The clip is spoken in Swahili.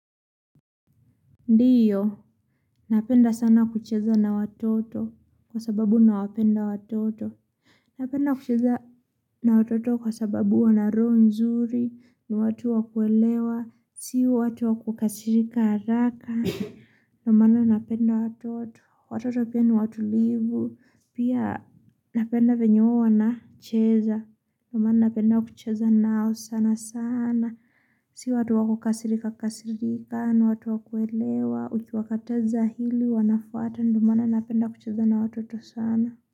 Ndiyo, napenda sana kucheza na watoto kwa sababu nawapenda watoto. Napenda kucheza na watoto kwa sababu wana roho nzuri ni watu wakuelewa. Sio watu wakukasirika haraka. Ndio maana napenda watoto. Watoto pia ni watulivu. Pia napenda venye huwa wana cheza. Ndio maana napenda kucheza nao sana sana. Sio watu wakukasirika kasirika ni watu wakuelewa. Ukiwakateza hili wanafuata ndio maana napenda kucheza na watoto sana.